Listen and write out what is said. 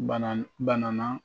Bana bana na